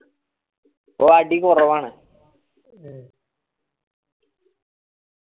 ഇപ്പൊ അടി കൊറവാണ്